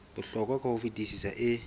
bohlokwa ka ho fetisisa e